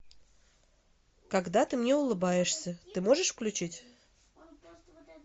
когда ты мне улыбаешься ты можешь включить